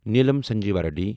Neelam Sanjiva ready